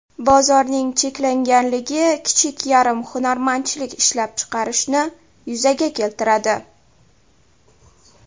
Bozorning cheklanganligi kichik yarim hunarmandchilik ishlab chiqarishni yuzaga keltiradi.